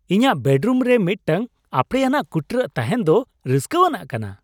ᱤᱧᱟᱜ ᱵᱮᱰ ᱨᱩᱢᱨᱮ ᱢᱤᱫᱴᱟᱝ ᱟᱯᱲᱮᱭᱟᱱᱟᱜ ᱠᱩᱴᱨᱟᱹ ᱛᱟᱦᱮᱱ ᱫᱚ ᱨᱟᱹᱥᱠᱟᱹᱣᱟᱱᱟᱜ ᱠᱟᱱᱟ ᱾